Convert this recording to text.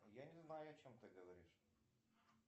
я не знаю о чем ты говоришь